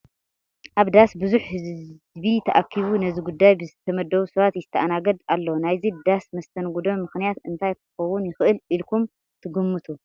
ኣብ ዳስ ብዙሕ ህዚቢ ተኣኪቡ ነዚ ጉዳይ ብዝተመደቡ ሰባት ይስተኣናገድ ኣሎ፡፡ ናይዚ ዳስን መስተንግዶን ምኽንያት እንታይ ክኸውን ይኽእል ኢልኩም ትግምቱ?